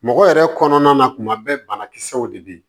Mɔgɔ yɛrɛ kɔnɔna na tuma bɛɛ banakisɛw de bɛ yen